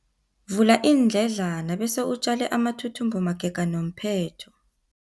Vula iindledlana bese utjale amathuthumbo magega nomphetho.